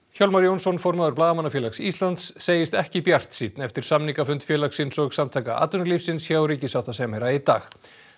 Hjálmar Jónsson formaður Blaðamannafélags Íslands segist ekki bjartsýnn eftir samningafund félagsins og Samtaka atvinnulífsins hjá ríkissáttasemjara í dag